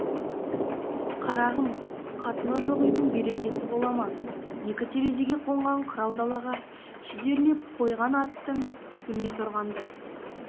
қарағым қатыны жоқ үйдің берекесі бола ма екі терезеге қонған қырау далаға шідерлеп қойған аттың түгіне тұрғандай